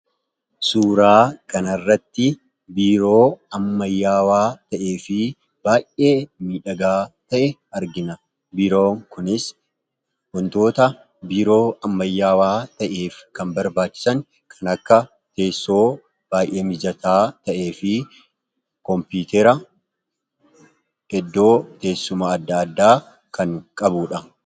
Suuraa kanarratti biiroo ammayyaawaa ta'ee fi baay'ee midhagaa ta'e argina. Biiroo kunis hontoota biiroo ammayyaawaa ta'eef kan barbaachisan kan akka teessoo baay'ee mijataa ta'ee fi koompiitera eddoo teessuma adda addaa kan qabuudha.